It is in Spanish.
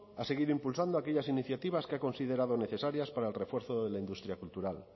va a seguir impulsando aquellas iniciativas que ha considerado necesarias para el refuerzo de la industria cultural